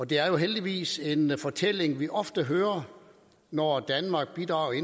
det er jo heldigvis en fortælling vi ofte hører når danmark bidrager i